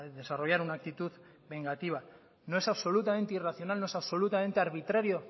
desarrollar una actitud vengativa no es absolutamente irracional no es absolutamente arbitrario